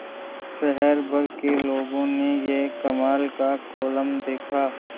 शहर भर के लोगों ने यह कमाल का कोलम देखा